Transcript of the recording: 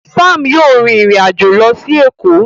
Sam yíò rìn ìrin àjọ ló sì Eko